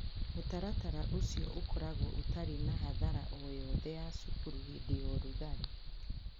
Mũtaratara ũcio ũkoragwo ũtarĩ na hathara o yothe ya cukuru hĩndĩ ya ũrugarĩ.